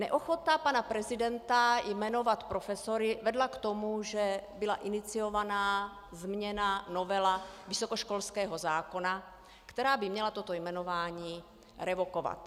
Neochota pana prezidenta jmenovat profesory vedla k tomu, že byla iniciována změna, novela vysokoškolského zákona, která by měla toto jmenování revokovat.